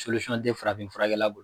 tɛ farafin furakɛla b